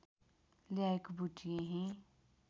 ल्याएको बुटी यहीँ